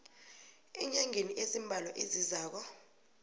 eenyangeni ezimbalwa ezizako